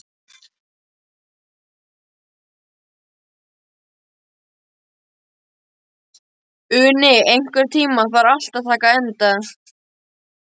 Uni, einhvern tímann þarf allt að taka enda.